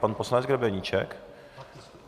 Pan poslanec Grebeníček?